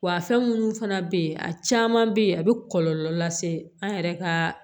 Wa fɛn munnu fana be yen a caman be ye a be kɔlɔlɔ lase an yɛrɛ ka